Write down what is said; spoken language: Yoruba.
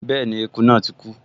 Bẹ́ẹ̀ni, eku náà ti kú